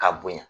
K'a bonya